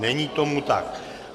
Není tomu tak.